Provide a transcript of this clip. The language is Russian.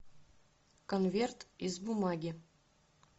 конверт из бумаги